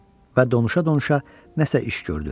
Və donuşa-donuşa nəsə iş gördü.